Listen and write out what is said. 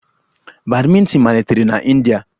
Badminton malitere na India